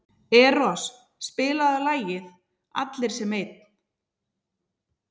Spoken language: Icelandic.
Eros, spilaðu lagið „Allir sem einn“.